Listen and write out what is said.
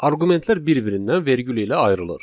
Arqumentlər bir-birindən vergül ilə ayrılır.